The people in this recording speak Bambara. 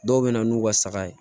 Dɔw bɛ na n'u ka saga ye